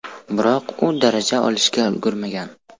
Biroq u daraja olishga ulgurmagan.